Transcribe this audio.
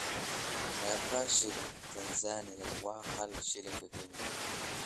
Meeqa shilinka Tansaaniya waa hal shilinka Kenya?